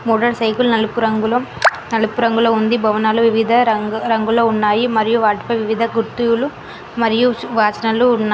motor cycle నలుపు రంగులో నలుపు రంగులో ఉంది భవనలు వివిధ రంగు రంగులో ఉన్నాయి మరియు వాటిపై వివిధ గుర్తులు మరియు వాచనాలు ఉన్నా --